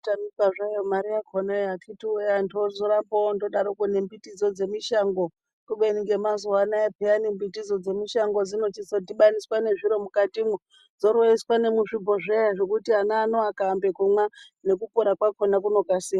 Kutamika zvayo mare yakonayo akiti woye antubozoramba indodaroko nembitidzo dzemishango kubeni nhemazuwanaya peyani mbitidzo dzemishango dzichizodhibaniswa nezviro mukatimwo dzoroiswa nemuzvibhozveya zvekuti ana ano akaambe kumwa mukukura kwakona kunokasira.